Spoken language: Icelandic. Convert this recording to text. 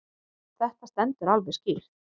Þetta stendur alveg skýrt.